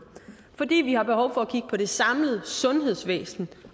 fordi vi har behov for at kigge på det samlede sundhedsvæsen